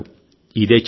ఇదే ట్విస్ట్